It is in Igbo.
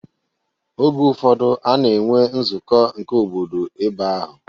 Oge ụfọdụ a na-enwe nzụkọ nke obodo ebe ahụ.